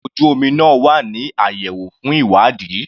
Ọkò ojú omi náà wà ní àyẹ̀wò fún ìwádìí.